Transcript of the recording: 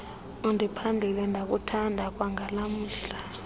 undiphandlile ndakuthanda kwangalamhla